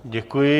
Děkuji.